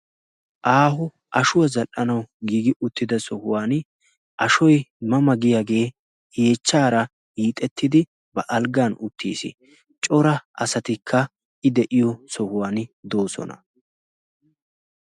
Aaho ashuwaa zal"anau giigi uttida sohuwan ashoy mama giyaagee yeechchaara yiixettidi ba alggan uttiis cora asatikka i de'iyo sohuwan doosona.